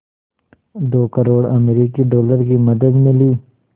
दो करोड़ अमरिकी डॉलर की मदद मिली